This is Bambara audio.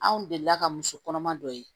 Anw delila ka muso kɔnɔma dɔ ye